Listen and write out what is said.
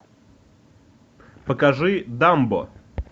покажи дамбо